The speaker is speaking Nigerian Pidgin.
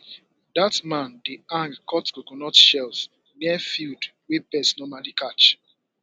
dat man dey hang cut coconut shells near field wey pests normally catch